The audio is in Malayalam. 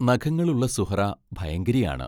നഖങ്ങളുള്ള സുഹ്റാ ഭയങ്കരിയാണ്.